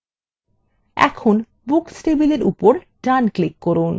এখন books table উপর ডান click করুন